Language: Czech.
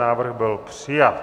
Návrh byl přijat.